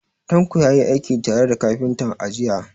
Tanko ya yi aiki tare da kafintan, a jiya.